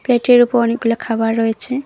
প্লেটের উপর অনেকগুলো খাবার রয়েছে।